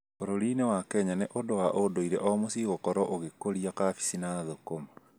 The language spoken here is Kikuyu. Bũrũri-inĩ wa kenya nĩ ũndũ wa ũndũire o mũciĩ gũkorwo ũgĩkũria kabici na thũkũma